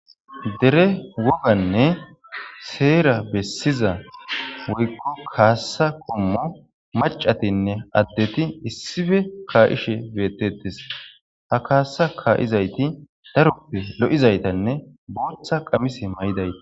Dere wogganne seer besiza kasa qoommo macatinne addetti issippe ka'ishe bettetes ha ka'izaytti daroppe lo'izayttanne booththa qamise may'idaytta